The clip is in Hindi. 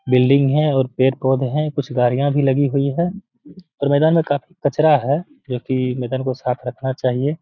बिल्डिंग है और पेड़-पोधे हैं कुछ गाड़िया भी लगी हुई हैं और मैदान में काफी कचरा है जो कि मैदान को साफ रखना चाहिए।